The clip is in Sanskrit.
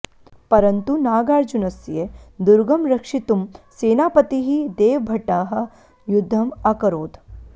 परन्तु नागार्जुनस्य दुर्गं रक्षितुं सेनापतिः देवभट्टः युद्धम् अकरोत्